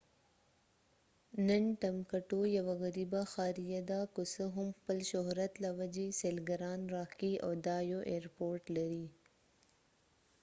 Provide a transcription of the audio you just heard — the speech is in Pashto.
نن ټمبکټو یوه غریبه ښاریه ده که څه هم خپل شهرت له وجې سېلګران راښکي او دا یو اېیرپورټ لري